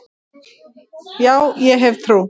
Já, ég hef trú.